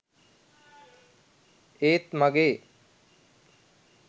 ඒත් මගේ